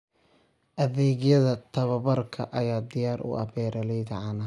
Adeegyada tababarka ayaa diyaar u ah beeralayda caanaha.